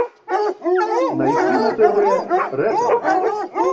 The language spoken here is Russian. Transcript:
найти на тв ретро